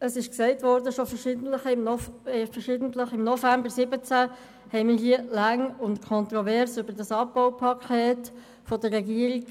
Es ist bereits verschiedentlich gesagt worden, dass wir hier im November 2017 lange und kontrovers über das Abbaupaket der Regierung,